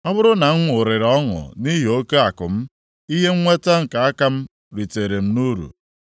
Ọ bụrụ na m ṅụrịrị ọṅụ nʼihi oke akụ m, ihe nnweta nke aka m ritere nʼuru,